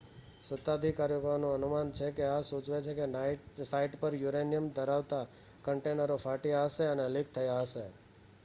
સત્તાધિકારીઓનું અનુમાન છે કે આ સૂચવે છે કે સાઇટ પર યુરેનિયમ ધરાવતાં કન્ટેનરો ફાટ્યાં હશે અને લીક થયાં હશે